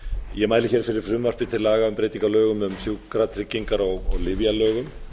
ég mæli hér fyrir frumvarpi til laga um breytingu á lögum um sjúkratryggingar og lyfjalögum